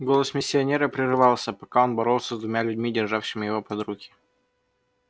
голос миссионера прерывался пока он боролся с двумя людьми державшими его под руки